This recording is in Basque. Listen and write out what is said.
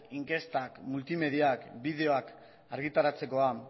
inkestak multimediak bideoak argitaratzekoak